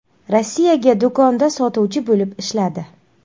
Rossiyaga do‘konda sotuvchi bo‘lib ishladi.